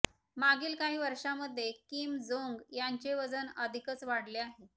मागील काही वर्षांमध्ये किम जोंग यांचे वजन अधिकच वाढले आहे